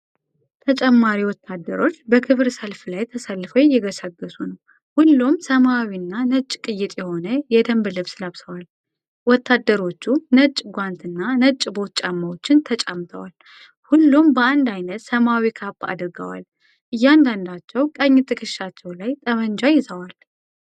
ተጨማሪ ወታደሮች በክብር ሰልፍ ላይ ተሰልፈው እየገሰገሱ ነው። ሁሉም ሰማያዊና ነጭ ቅይጥ የሆነ የደንብ ልብስ ለብሰዋል። ወታደሮቹ ነጭ ጓንትና ነጭ ቦት ጫማዎችን ተጫምተዋል። ሁሉም በአንድ ዓይነት ሰማያዊ ካፕ አድርገዋል። እያንዳንዳቸው ቀኝ ትከሻቸው ላይ ጠመንጃ ይዘዋል።